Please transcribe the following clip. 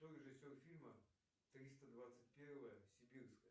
кто режиссер фильма триста двадцать первая сибирская